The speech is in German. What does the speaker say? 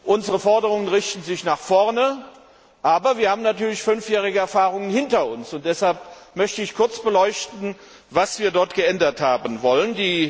Unsere Forderungen richten sich nach vorne, aber wir haben natürlich fünfjährige Erfahrungen hinter uns, und deshalb möchte ich kurz beleuchten, was wir geändert haben wollen.